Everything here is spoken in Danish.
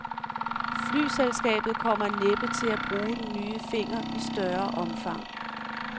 Flyselskabet kommer næppe til at bruge den nye finger i større omfang.